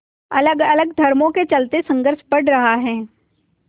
अलगअलग धर्मों के चलते संघर्ष बढ़ रहा है